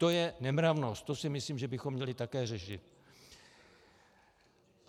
To je nemravnost, to si myslím, že bychom měli také řešit.